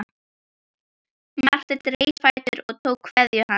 Marteinn reis á fætur og tók kveðju hans.